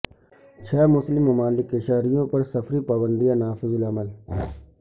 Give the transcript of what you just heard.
چھ مسلم ممالک کے شہریوں پر سفری پابندیاں نافذالعمل